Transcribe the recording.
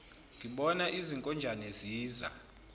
ngibona izinkonjane ziza